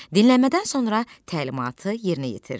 Dinləmədən sonra təlimatı yerinə yetir.